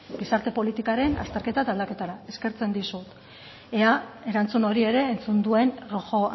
gizarte politikaren azterketa eta aldaketara eskertzen dizut ea erantzun hori ere entzun duen rojo